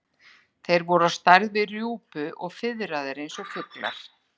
Þeir voru á stærð við rjúpu og fiðraðir eins og fuglar.